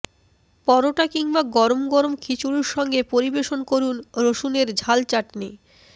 পরোটা কিংবা গরম গরম খিচুড়ির সঙ্গে পরিবেশন করুন রসুনের ঝাল চাটনি